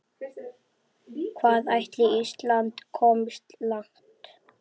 Hvað ætli Ísland komist langt?